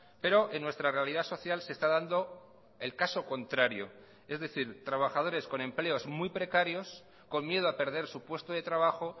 pero en nuestra realidad social se está dando el caso contrario es decir trabajadores con empleos muy precarios con miedo a perder su puesto de trabajo